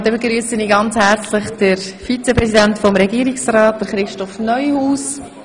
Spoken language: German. Ich begrüsse den Vizepräsidenten des Regierungsrats, Christoph Neuhaus.